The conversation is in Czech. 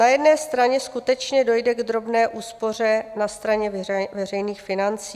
Na jedné straně skutečně dojde k drobné úspoře na straně veřejných financí.